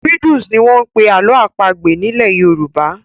Riddles' ni wọ́n ń pè ní àlọ́ àpagbè nílẹ̀ Yorùbá.